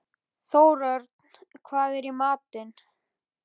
Þórörn, hvað er í matinn?